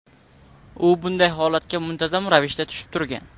U bunday holatga muntazam ravishda tushib turgan.